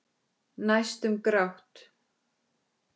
Næstum grátt.